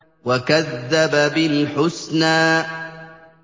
وَكَذَّبَ بِالْحُسْنَىٰ